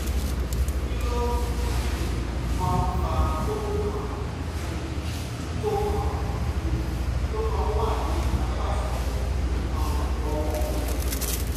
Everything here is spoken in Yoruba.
kí ló um máa ń fa kókó kan um tó kan um tó máa ń wà ní apá ìsàlẹ̀ nǹkan ọmọkùnrin? um